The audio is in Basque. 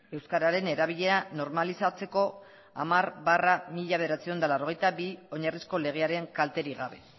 euskararen erabilera normalizatzeko hamar barra mila bederatziehun eta laurogeita bi oinarrizko legearen kalterik gabe